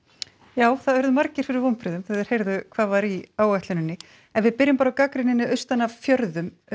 já það urðu margir fyrir vonbrigðum þegar þeir heyrðu hvað var í áætluninni ef við byrjum bara á gagnrýninni austan af fjörðum